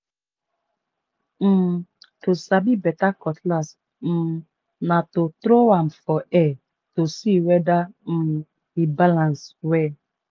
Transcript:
um to sabi beta cutlass um na to tro am for air to see weda um e balans well.